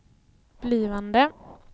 blivande